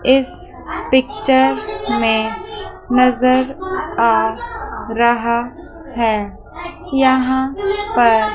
इस पिक्चर में नजर आ रहा है यहां पर--